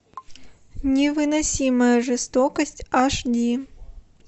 невыносимая жестокость аш ди